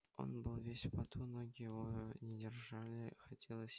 он был весь в поту ноги его не держали хотелось